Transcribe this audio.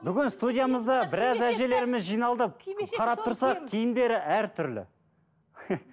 бүгін студиямызда біраз әжелеріміз жиналды қарап тұрсақ киімдері әртүрлі